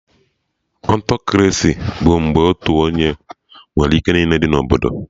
Autokraci bụ mgbe otu onye nwere ike niile dị na Obodo